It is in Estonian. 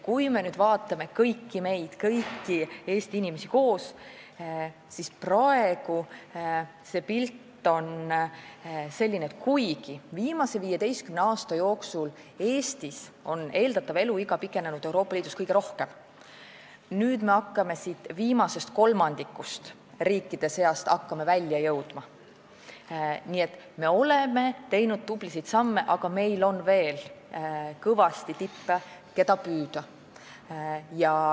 Kui me vaatame kõiki Eesti inimesi koos, siis praegu on pilt selline, et kuigi viimase 15 aasta jooksul on Eestis eeldatav eluiga pikenenud Euroopa Liidus kõige rohkem, me hakkame viimasest kolmandikust välja jõudma ja oleme teinud tublisid samme, on meil veel kõvasti tippe, keda püüda.